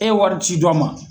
E ye wari ci dɔ ma